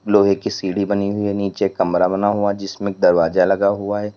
लोहे की सीढ़ी बनी हुई है नीचे कमरा बना हुआ है जिसमें दरवाजा लगा हुआ है।